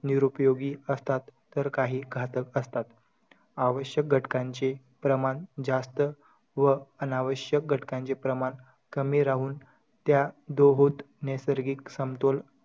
निरूपयोगी असतात तर काही घातक असतात. आवश्यक घटकांचे प्रमाण जास्त व अनावश्यक घटकांचे प्रमाण कमी राहून त्या दोहोत नैसर्गिक समतोल,